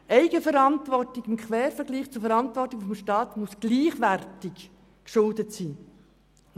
Eigenverantwortung muss im Quervergleich zur Verantwortung des Staats gleichwertig geschuldet sein.